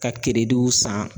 Ka san